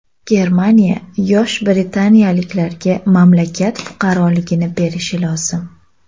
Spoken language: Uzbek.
Germaniya yosh britaniyaliklarga mamlakat fuqaroligini berishi lozim.